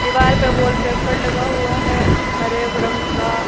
दीवार पे wallpaper लगा हुआ है हर एक रंग का--